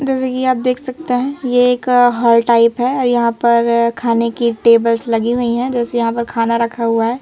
जैसे कि आप देख सकते हैं ये एक हॉल टाइप है यहां पर खाने की टेबल्स लगी हुई हैं जैसे यहां पर खाना रखा हुआ है।